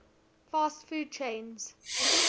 fast food chains